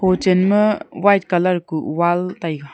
ho chenma white colour ku wall taiga.